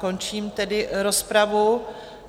Končím tedy rozpravu.